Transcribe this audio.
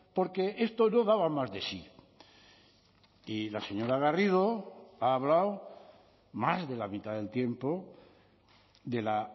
porque esto no daba más de sí y la señora garrido ha hablado más de la mitad del tiempo de la